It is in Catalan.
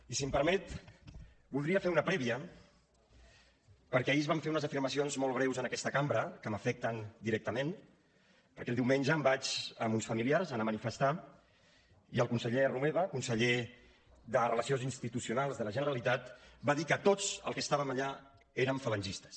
i si m’ho permet voldria fer una prèvia perquè ahir es van fer unes afirmacions molt greus en aquesta cambra que m’afecten directament perquè diumenge em vaig amb uns familiars anar a manifestar i el conseller romeva conseller de relacions institucionals de la generalitat va dir que tots els que estàvem allà érem falangistes